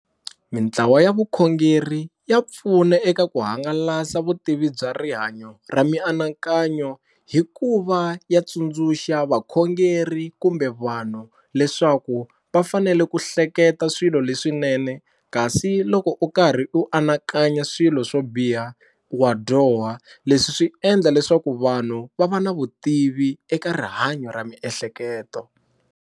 Mitlawa ya vukhongeri ya pfuna eka ku hangalasa vutivi bya rihanyo ra mianakanyo hi ku va ya tsundzuxa vakhongeri kumbe vanhu leswaku va fanele ku ku hleketa swilo leswinene kasi loko u karhi u anakanya swilo swo biha wa dyoha leswi swi endla leswaku vanhu va va na vutivi eka rihanyo ra miehleketo.